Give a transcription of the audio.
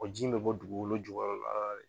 O ji in be bɔ dugukolo jukɔrɔla la de.